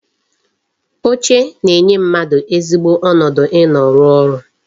Oche na-enye mmadụ ezigbo ọnọdụ ị nọ rụọ ọrụ